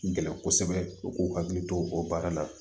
Gɛlɛn kosɛbɛ u k'u hakili to o baara la